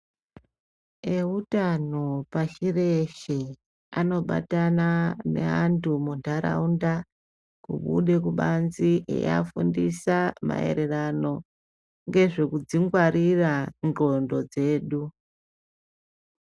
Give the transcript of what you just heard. Eutano pashi reshe anobatana neantu munharaunda kubude kubanze eiafundisa mairirano ngezvekudzingwarira dxondo dzedu.